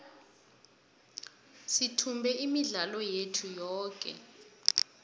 sithumbe imidlalo yethu yoke